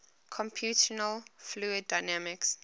computational fluid dynamics